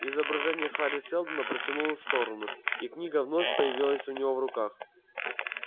изображение хари сэлдона протянулос в сторону и книга вновь появилась у него в руках